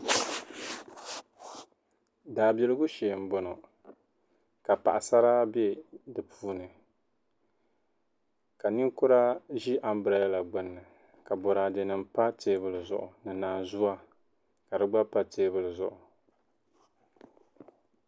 daabiligu shee m-bɔŋɔ ka paɣisara be di puuni ka ninkura ʒi ambirɛla gbuni ka bɔraadenima m-pa teebuli zuɣu ni naanzua ka di gba pa teebuli zuɣu